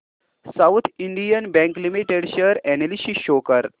south Indian Bank Limited share analysis show कर